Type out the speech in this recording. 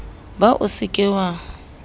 ba o se ke wa